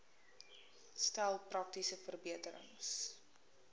stel praktiese verbeterings